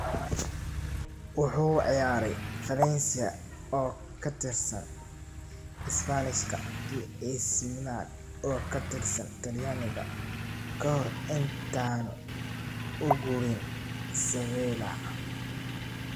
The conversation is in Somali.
Wuxuu ciyaaray Valencia oo ka tirsan Isbaanishka iyo AC Milan oo ka tirsan Talyaaniga ka hor intaanu u guurin Sevilla.